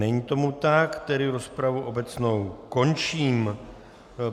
Není tomu tak, tedy rozpravu obecnou končím.